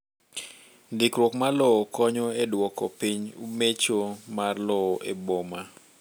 Ndikruok mar lowo konyo e duoko piny mecho mar lowo e boma